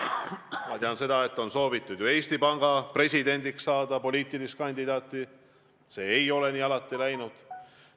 Ma tean, et on soovitud Eesti Panga presidendiks esitada poliitilise taustaga inimesi, aga see ei ole alati nii läinud.